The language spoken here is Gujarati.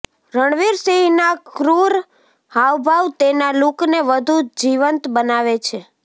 રણવીર સિંહના ક્રૂર હાવભાવ તેના લૂકને વધુ જીવંત બનાવે છે